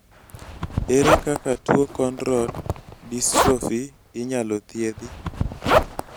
ere kaka tuo Cone rode dystrophy inyalo thiethi?